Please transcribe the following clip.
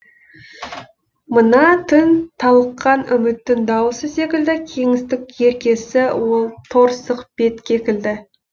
мына түн талыққан үміттің дауысы секілді кеңістік еркесі ол торсық бет кекілді